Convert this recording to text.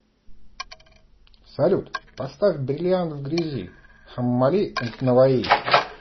салют поставь бриллиант в грязи хаммали энд наваи